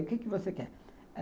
O que você quer?